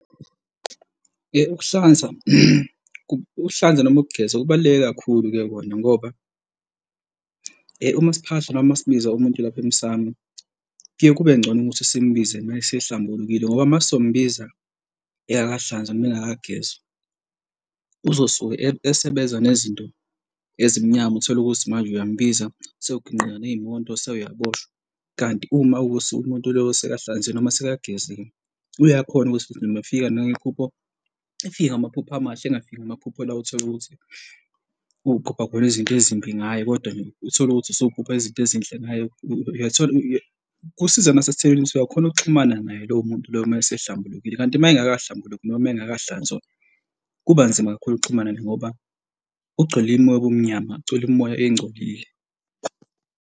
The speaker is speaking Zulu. Ukuhlanza ukuhlanza noma ukugeza kubaluleke kakhulu-ke kona ngoba uma siphahla noma sibiza umuntu lapha emsamu kuye, kube ngcono ukuthi simbize uma esehlambulukile ngoba uma sombiza engakahlanzwa noma engakagezwa uzosuke esebeza nezinto ezimnyama, uthole ukuthi manje uyambiza, sowuginqeka ney'moto sewuyaboshwa. Kanti uma ukuthi umuntu lo usekahlanziwe noma usekageziwe, uyakhona ukuthi noma efika anuka iphupho efika amaphupho amahle engafiki amaphupho la othola ukuthi uphupha khona izinto ezimbi ngaye kodwa nje uthole ukuthi sowuphupha izinto ezinhle ngaye kusiza uma sesitholile usuthi uyakhona ukuxhumana naye lowo muntu loyo uma sehlambulukile. Kanti uma engakahlambuluki noma uma engakahlanzwa kuba nzima kakhulu ukuxhumana ngoba ugcwele imimoya yobumnyama ugcwele imimoya engcolile.